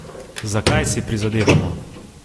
Za kaj si prizadevamo?